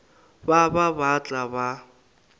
ba ba ba tla ba